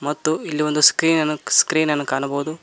ತ್ತು ಇಲ್ಲಿ ಒಂದು ಸ್ಕ್ರೀನ್ ಅನ್ನು ಸ್ಕ್ರೀನ್ ಅನ್ನು ಕಾಣಬಹುದು.